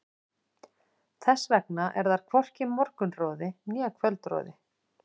Þess vegna er þar hvorki morgunroði né kvöldroði.